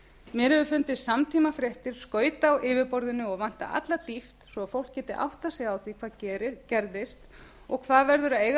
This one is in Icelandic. mér hafa fundist samtímafréttir skauta á yfirborðinu og vanta alla dýpt svo að fólk geti áttað sig á því hvað gerðist og hvað verður að eiga